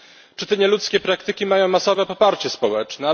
Czy te nieludzkie praktyki mają masowe poparcie społeczne?